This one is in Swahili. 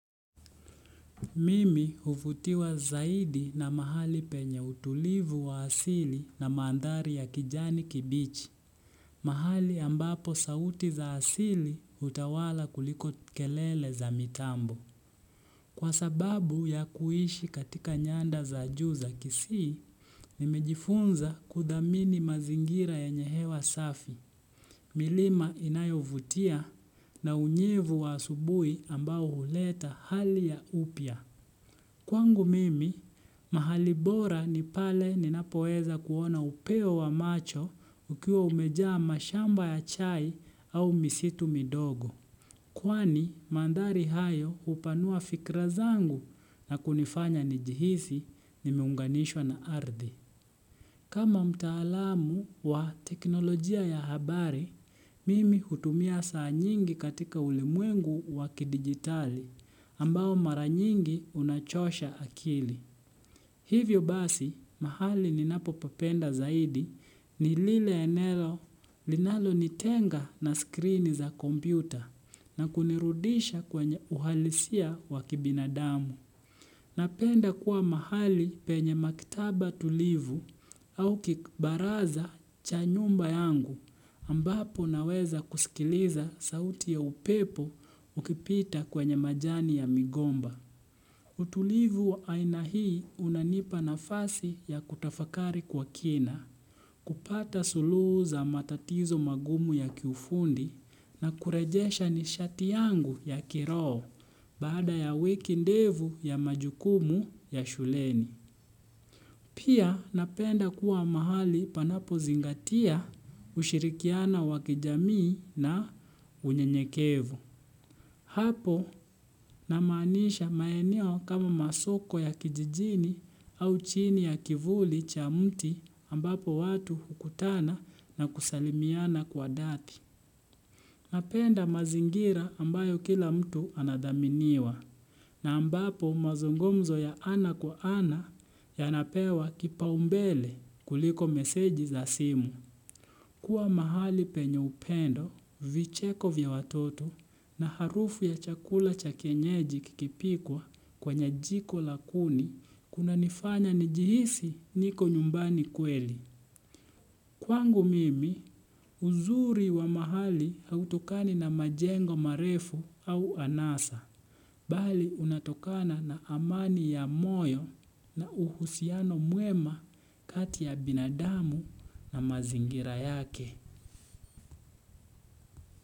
Mimi huvutiwa zaidi na mahali penye utulivu wa asili na mandhari ya kijani kibichi. Mahali ambapo sauti za asili hutawala kuliko kelele za mitambo. Kwa sababu ya kuishi katika nyanda za juu za kisii, nimejifunza kudhamini mazingira yenye hewa safi. Milima inayovutia na unyevu wa asubuhi ambao huleta hali ya upya. Kwangu mimi, mahali bora ni pale ninapoweza kuona upeo wa macho ukiwa umejaa mashamba ya chai au misitu midogo. Kwani, mandhari hayo hupanua fikra zangu na kunifanya nijihizi nimeunganishwa na ardhi. Kama mtaalamu wa teknolojia ya habari, mimi hutumia saa nyingi katika ulimwengu wa kidigitali, ambao maranyingi unachosha akili. Hivyo basi, mahali ninapopapenda zaidi ni lile enelo linalonitenga na skrini za kompyuta na kunirudisha kwenye uhalisia wa kibinadamu. Napenda kuwa mahali penye maktaba tulivu au kibaraza cha nyumba yangu ambapo naweza kusikiliza sauti ya upepo ukipita kwenye majani ya migomba. Utulivu aina hii unanipa nafasi ya kutafakari kwa kina. Kupata suluhu za matatizo magumu ya kiufundi na kurejesha ni shati yangu ya kiroho baada ya wiki ndefu ya majukumu ya shuleni. Pia napenda kuwa mahali panapozingatia ushirikiana wa kijamii na unyenyekevu. Hapo namaanisha maeneo kama masoko ya kijijini au chini ya kivuli cha mti ambapo watu hukutana na kusalimiana kwa dhati. Napenda mazingira ambayo kila mtu anadhaminiwa, na ambapo mazungumzo ya ana kwa ana yanapewa kipaumbele kuliko meseji za simu. Kuwa mahali penye upendo, vicheko vya watoto na harufu ya chakula cha kienyeji kikipikwa kwenye jiko la kuni, kunanifanya nijihisi niko nyumbani kweli. Kwangu mimi, uzuri wa mahali hautokani na majengo marefu au anasa, bali unatokana na amani ya moyo na uhusiano mwema kati ya binadamu na mazingira yake.